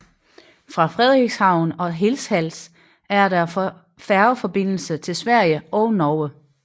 Fra Frederikshavn og Hirtshals er der færgeforbindelse til Sverige og Norge